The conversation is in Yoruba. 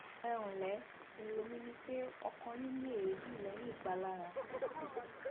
ẹ ǹlẹ èrò mi ni pé ọkọ yín ní èébì lẹyìn ìpalára